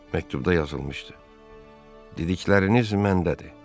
Məktubda yazılmışdı: dedikləriniz məndədir.